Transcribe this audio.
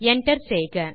enter செய்க